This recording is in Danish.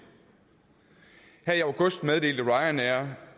her i august meddelte ryanair